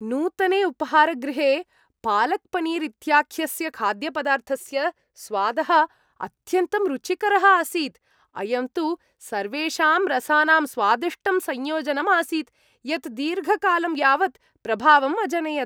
नूतने उपाहारगृहे पालक्पनीर् इत्याख्यस्य खाद्यपदार्थस्य स्वादः अत्यन्तं रुचिकरः आसीत् , अयं तु सर्वेषां रसानाम् स्वादिष्टं संयोजनम् आसीत्, यत् दीर्घकालं यावत् प्रभावम् अजनयत्।